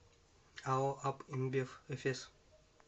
ао аб инбев эфес